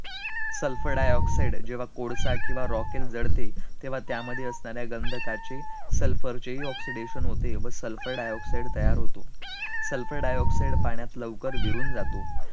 Sulfur dioxide जेव्हा कोळसा किंवा रोकएल जळते, तेव्हा त्यामध्ये असनाऱ्या गंधकाचे sulfur चेही oxidation होते व sulfur dioxide तयार होतो, sulfur dioxide पाण्यात लवकर विरून जातो